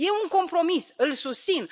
E un compromis, îl susțin.